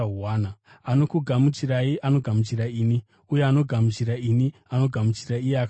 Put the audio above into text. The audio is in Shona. “Anokugamuchirai anogamuchira ini, uye anogamuchira ini anogamuchira iye akandituma.